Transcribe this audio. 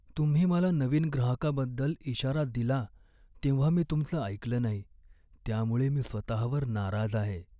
तुम्ही मला नवीन ग्राहकाबद्दल इशारा दिला तेव्हा मी तुमचं ऐकलं नाही, त्यामुळे मी स्वतःवर नाराज आहे.